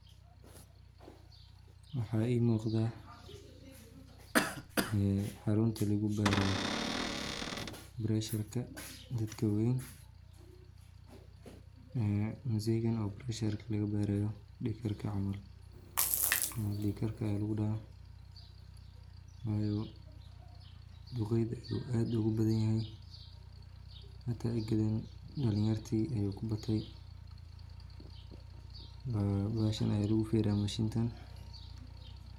Waxa ii muuqda ee xarunta lugu baaro baresharka dadka waweyn ee mzeegan o bareshka laga baarayo dhig karka camal misena dhig karka aya lugu dhaha wayo duqeyda ayu aad ogu badan yahay hata egedan dhalin yarti ayuu ku batay, bahashan aya lugu firiya mashintan